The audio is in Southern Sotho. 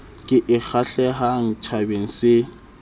ke e kgahlehang tjhabeng se